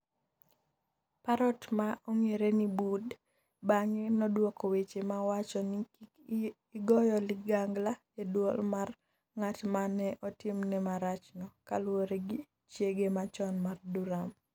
Parrot ma ne ong’ere ni Bud, bang’e nodwoko weche ma wacho ni “kik igoyo ligangla” e dwol mar ng’at ma ne otimne marachno, kaluwore gi chiege machon mar Duram.